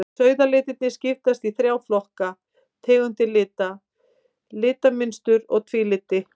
Sauðalitirnir skiptast í þrjá flokka, tegundir lita, litamynstur og tvíliti.